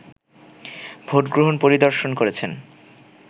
vote গ্রহণ পরিদর্শন করেছেন